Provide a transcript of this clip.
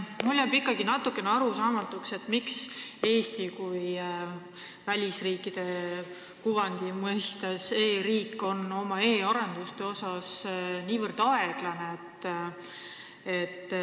Mulle jääb ikkagi natukene arusaamatuks, miks Eesti, kellel on välisriikide silmis e-riigi kuvand, on oma e-arenduste mõttes niivõrd aeglane.